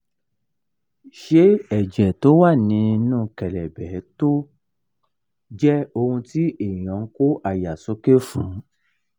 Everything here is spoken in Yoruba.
ṣé ẹ̀jẹ̀ tó wà nínú kelebe jẹ́ ohun ti eyan n ko aya soke fun?